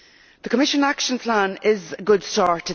The Commission action plan is a good start.